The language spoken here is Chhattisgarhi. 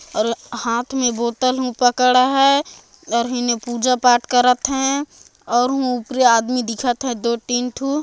अल हाथ में बोतल उ पकड़ा है और हिने ही पूजा-पाठ करता है अऊ हु ऊपरे आदमी दिखा थे दु तीन ठू--